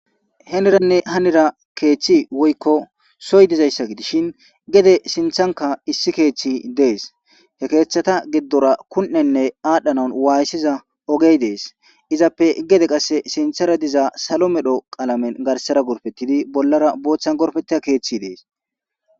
heneranne hanira keeththi woykko soy dizayssa gidishin gede sinthanka issi keeththi dees he keeththata giddora kunenne aadhdhanan waayssiza ogey dees izappe gede qasse sinthara diza salo medho qaalamen garsara gurfettidi bollara boothtchan gorfeta keeththi dees